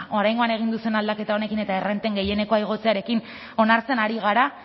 oraingoan egin duzuen aldaketa honekin eta errenten gehienekoa igotzearekin onartzen ari gara